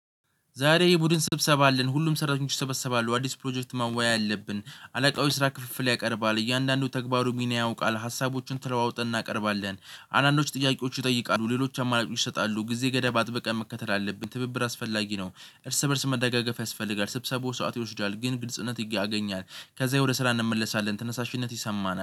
ዛሬ ይሄ የቡድን ስብሰባለ አለን ሁሉም ሰራተኞች ይሰበሰባሉ አዲስ ፕሮጀክት ማማያ ያለብን አለቃውበስራ ክፍፍል ያቀርባል እያንዳንዱ ተግባሩ ሚና ያውቃል ሀሳቦችን ተለዋውጠን እናቀርባለን። አንዳንዶች ጥያቄዎች ይጠይቃሉ ሌሎች አማላጭ ይሰጣሉ ጊዜ ገዳብ አጥብቀን መከተል አለብን ትብብር አስፈላጊ ነው። እርስ በእርስ መደጋገፍ ያስፈልጋል ስብሰባው ሰዓት ይወስዳል ግን ግልጽነት ያገኛል ከዛ የወደ ስራ እንመለሳለን። ትነሳሽነት ይሰማናል